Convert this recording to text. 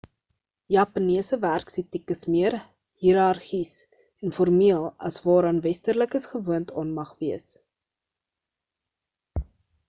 japannese werksetiek is meer hierargies en formeel as waaraan westerlikes gewoond aan mag wees